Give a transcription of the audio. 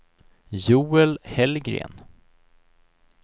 Joel Hellgren